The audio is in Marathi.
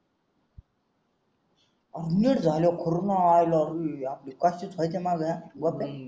आहो नीट झाल्यावर खरं नाही आयला आपली काशीच हाय त्या माग ना